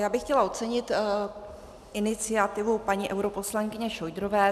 Já bych chtěla ocenit iniciativu paní europoslankyně Šojdrové.